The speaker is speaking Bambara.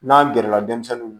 N'an gɛrɛla denmisɛnninw